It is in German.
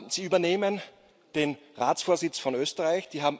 Sie übernehmen den Ratsvorsitz von Österreich.